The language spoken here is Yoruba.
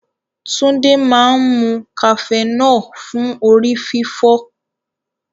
Tunde máa ń mu cafenol fún orí fífọ́.